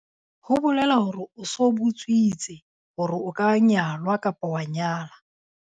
Ho bolela hore o so botswitse hore o ka nyalwa kapo wa nyala.